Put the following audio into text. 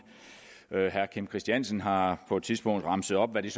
herre kim christiansen har på et tidspunkt remset op hvad det